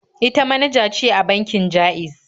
Ita manaja ce a bankin Ja'iz.